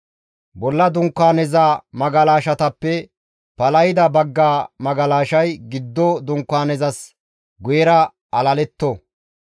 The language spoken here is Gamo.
Bolla dunkaaneza magalashatappe palahida bagga magalashay giddo dunkaanezas guyera alaletto.